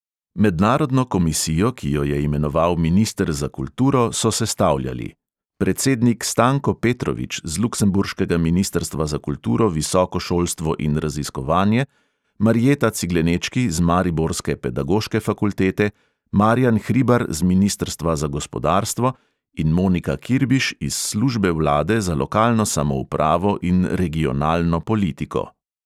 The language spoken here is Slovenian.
Mednarodno komisijo, ki jo je imenoval minister za kulturo, so sestavljali: predsednik stanko petrovič z luksemburškega ministrstva za kulturo, visoko šolstvo in raziskovanje, marjeta ciglenečki z mariborske pedagoške fakultete, marjan hribar z ministrstva za gospodarstvo in monika kirbiš iz službe vlade za lokalno samoupravo in regionalno politiko.